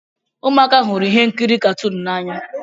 Ụmụaka hụrụ ihe nkiri katuun n'anya.